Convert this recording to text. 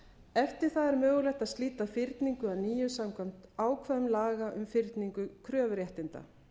eftir það er mögulegt að slíta fyrningu að nýju samkvæmt ákvæðum laga um fyrningu kröfuréttinda